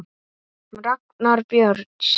Ragnar Björns.